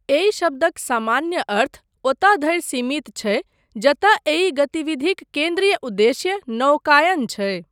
एहि शब्दक सामान्य अर्थ ओतय धरि सीमित छै जतय एहि गतिविधिक केन्द्रीय उद्देश्य नौकायन छै।